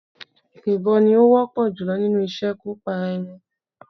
Ìbọn ni ó wọ́pọ̀ jùlọ nínú ìṣekúpara-ẹni.